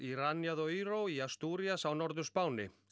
Asturias á Norður Spáni